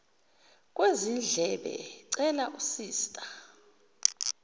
kwezindlebe cela usista